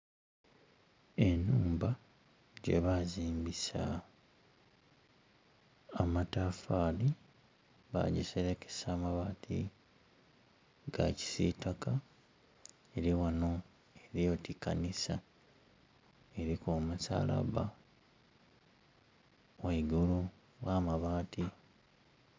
Enumba gyebazimbisa amatafali bagiserekesa amabaati ga kisitaka eri ghano eri oti kanisa, eriku omusalaba ghaigulu gh'amabaati.